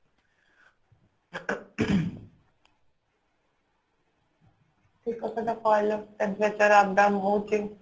ଠିକ କଥା ଟା କହିଲ Temperature up down ହଉଚି